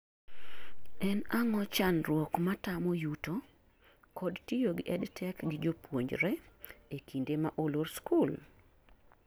En ang'o chandruok matamo yuto, kod tiyo gi Edtech gi jopuonjre ekinde ma olor skul?